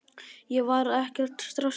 Ég var ekkert stressaður.